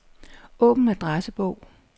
Åbn adressebog.